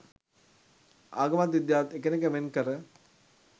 ආගමත් විද්‍යාවත් එකිනෙක වෙන් කර